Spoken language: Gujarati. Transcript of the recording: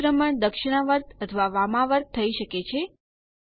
પરિભ્રમણ દક્ષીણાવર્ત અથવા વામાવર્ત થઇ શકે છે